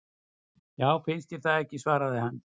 Já, finnst þér það ekki svaraði hann.